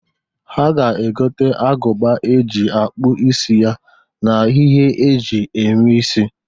Ha ga-egota agụba e ji akpụ isi ya n'ihe e ji eme isi.